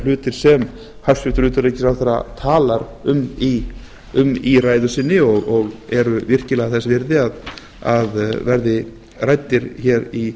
hlutir sem hæstvirtur utanríkisráðherra talar um í ræðu sinni og eru virkilega þess virði að verði ræddir í